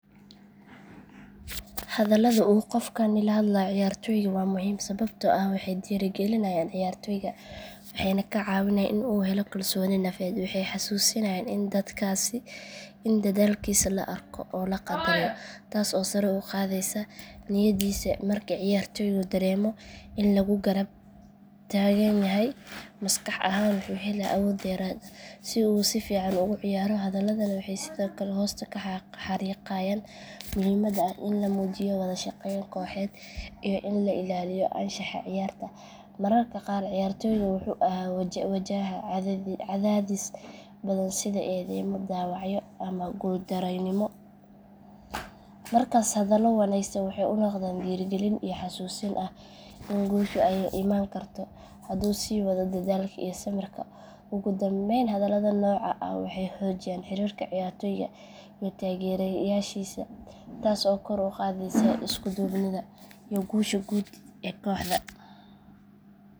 Hadallada uu qofkani la hadlayo ciyaartooyga waa muhiim sababtoo ah waxay dhiirigelinayaan ciyaartooyga waxayna ka caawinayaan in uu helo kalsooni nafeed waxay xasuusinayaan in dadaalkiisa la arko oo la qadariyo taas oo sare u qaadaysa niyaddiisa marka ciyaartooygu dareemo in lagu garab taagan yahay maskax ahaan wuxuu helaa awood dheeraad ah si uu si fiican ugu ciyaaro hadalladani waxay sidoo kale hoosta ka xariiqayaan muhiimadda ah in la muujiyo wadashaqeyn kooxeed iyo in la ilaaliyo anshaxa ciyaarta mararka qaar ciyaartooygu wuxuu wajahaa cadaadis badan sida eedeymo dhaawacyo ama guuldarrooyin markaas hadallo wanaagsan waxay u noqdaan dhiirigelin iyo xasuusin ah in guushu ay iman karto hadduu sii wado dadaalka iyo samirka ugu dambeyn hadallada noocan ah waxay xoojiyaan xiriirka ciyaartooyga iyo taageerayaashiisa taas oo kor u qaadaysa isku duubnida iyo guusha guud ee kooxda.